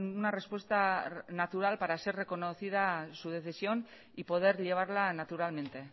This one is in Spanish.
una respuesta natural para ser reconocida su decisión y poder llevarla naturalmente